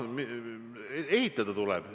Ehitada tuleb.